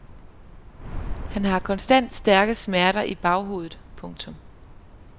Han har konstant stærke smerter i baghovedet. punktum